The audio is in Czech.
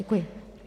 Děkuji.